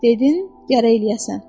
Dedin, gərək eləyəsən.